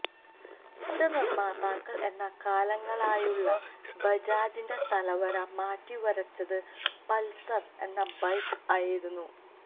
scooter നിര്മാതാക്കള് എന്ന കാലങ്ങളായുള്ള ബജാജിന്റെ തലവര മാറ്റിവരച്ചത് പള്സര് എന്ന ബൈക്ക് ആയിരുന്നു